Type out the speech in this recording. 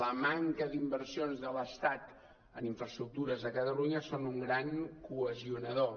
la manca d’inversions de l’estat en infraestructures a catalunya són un gran cohesionador